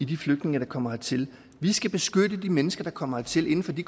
de flygtninge der kommer hertil vi skal beskytte de mennesker der kommer hertil inden for de